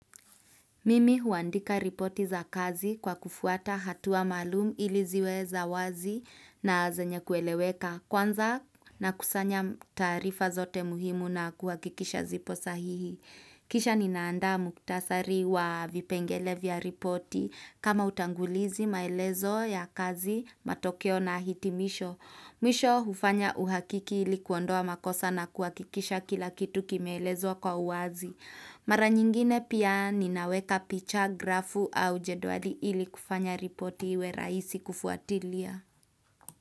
Mimi huandika ripoti za kazi kwa kufuata hatua maalumu ili ziwe za wazi na zenye kueleweka kwanza na kusanya taarifa zote muhimu na kuhakikisha zipo sahihi. Kisha ninaanda muktasari wa vipengele vya ripoti kama utangulizi maelezo ya kazi matokeo na hitimisho. Mwisho hufanya uhakiki ilikuondoa makosa na kuhakikisha kila kitu kimeelezwa kwa uwazi. Mara nyingine pia ninaweka picha grafu au jedwali ili kufanya ripoti we rahisi kufuatilia.